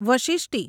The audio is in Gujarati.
વશિષ્ટિ